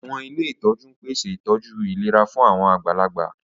Àwọn ilé ìtọ́jú ń pèsè ìtọ́jú ìlera fún àwọn àgbàlagbà